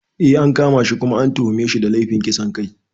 Eh, an kama shi kuma an tuhume shi da laifin kisan kai.